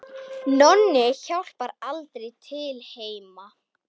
Nonni hjálpar aldrei til heima.